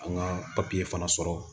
An ka papiye fana sɔrɔ